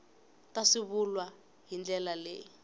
ta swivulwa hi ndlela leyi